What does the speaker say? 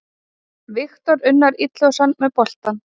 Viktor Unnar Illugason með boltann.